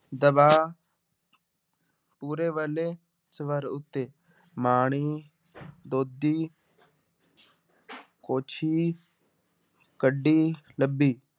ਦਬਾਅ ਮੂਹਰੇ ਵਾਲੇ ਸਵਰ ਉੱਤੇ ਮਾਣੀ ਦੁੱਧੀ ਕੁਛੀ ਕੱਢੀ, ਲੱਭੀ।